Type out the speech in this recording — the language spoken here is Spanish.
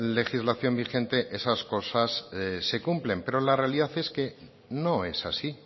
legislación vigente esas cosas se cumplen pero la realidad es que no es así